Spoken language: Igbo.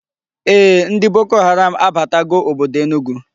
Ee, ndi Boko Haram abatago obodo Enugu